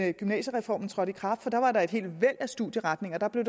at gymnasiereformen trådte i kraft for der var der et helt væld af studieretninger der blev